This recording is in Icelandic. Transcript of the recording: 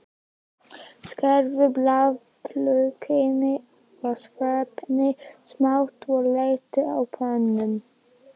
Skerðu blaðlaukinn og sveppina smátt og léttsteiktu á pönnu.